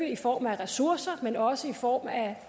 i form af ressourcer men også i form af